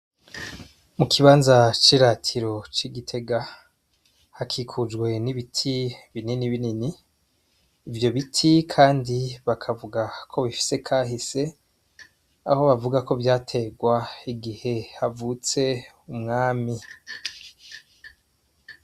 Mukibanza c' iratiro c' igitega hakikujwe n' ibiti binini binini ivyo biti kandi bakavuga ko bifise kahise aho bavuga ko vyategwa igihe havutse umwami.